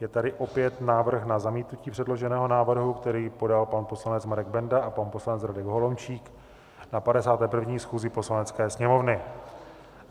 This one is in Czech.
Je tady opět návrh na zamítnutí předloženého návrhu, který podal pan poslanec Marek Benda a pan poslanec Radek Holomčík na 51. schůzi Poslanecké sněmovny.